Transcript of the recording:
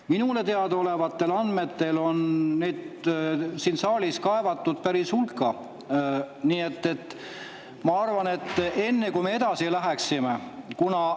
Minule teadaolevatel andmetel on neid siin saalis päris hulka.